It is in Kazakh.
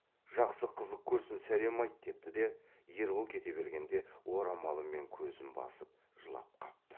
жақсы қызық көрсін сәлем айт депті де ербол кете бергенде орамалымен көзін басып жылап қапты